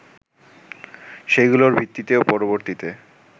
সেগুলোর ভিত্তিতেও পরবর্তীতে